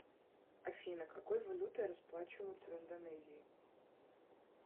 афина какой валютой расплачиваются в индонезии